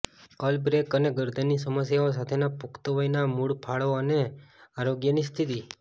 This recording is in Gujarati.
અલ બેક અને ગરદનની સમસ્યાઓ સાથેના પુખ્ત વયના મૂળ ફાળો અને આરોગ્યની સ્થિતિ